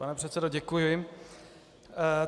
Pane předsedo, děkuji.